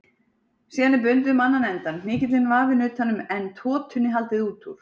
Síðan er bundið um annan endann, hnykillinn vafinn utan um en totunni haldið út úr.